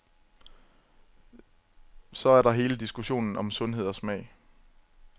Så er der hele diskussionen om sundhed og smag.